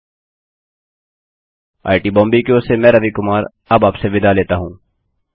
IIT Bombay की ओर से मैं रवि कुमार अब आपसे विदा लेता हूँ